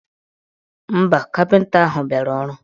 Mba, kapịnta ahụ biara ọrụ.